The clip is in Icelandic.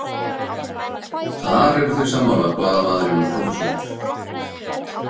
Þar eru þeir sammála, blaðamaðurinn og prófessorinn.